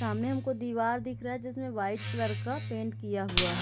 सामने हमको दीवार दिख रहा है जिसमें वाइट कलर का पेंट किया हुआ है।